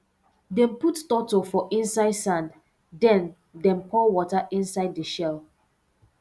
dem put turtle for inside sand then dem pour water inside the shell